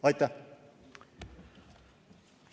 Aitäh!